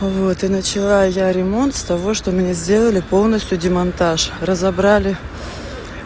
вот и начала я ремонт с того что мне сделали полностью демонтаж разобрали